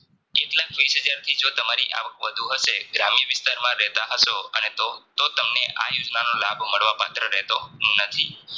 એકલાખ વીશહજારથી જો તમારી આવક વધુ હશે ગ્રામ્ય વિસ્તારમાં રહેતા હસો અને તો તો તમને આયોજનનો લાભ મળવા પાત્ર રહેતો નથી